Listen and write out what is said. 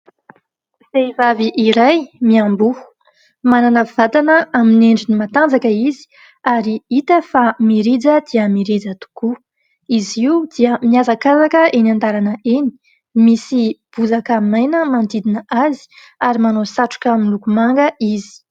Vehivavy iray miamboho manana vatana amin'ny endriny matanjaka izy mirija dia mirija tokoa izy io dia miazakazaka eny an-dalana eny misy bozaka maina manodidina azy ary manao satroka miloko manga izy